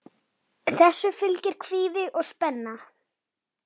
Þessu fylgir kvíði og spenna.